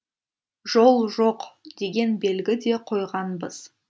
жол жоқ деген белгі де қойғанбыз